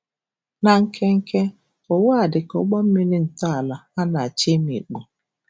Na nkenke, ụwa a, dị ka ụgbọ mmiri ntọala, na-achọ imikpu!